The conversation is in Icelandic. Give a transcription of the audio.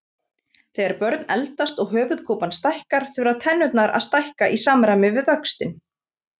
Þegar börn eldast og höfuðkúpan stækkar þurfa tennurnar að stækka í samræmi við vöxtinn.